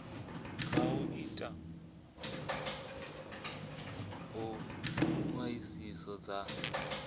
kha u ita ṱhoḓisiso dza